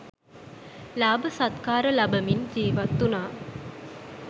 ලාභ සත්කාර ලබමින් ජීවත් වුණා.